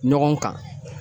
Ɲɔgɔn kan.